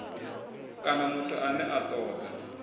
kana muthu ane a toda